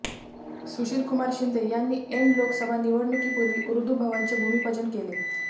सुशीलकुमार शिंदे यांनी ऐन लोकसभा निवडणुकीपुर्वी ऊर्दु भवनचे भूमिपूजन केले